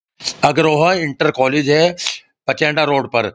अग्रह्वा inter college है Pachainda road पर।